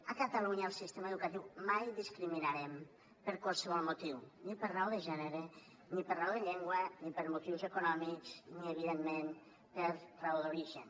a catalunya al sistema educatiu mai discriminarem per qualsevol motiu ni per raó de gènere ni per raó de llengua ni per motius econòmics ni evidentment per raó d’origen